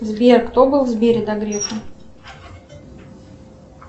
сбер кто был в сбере до грефа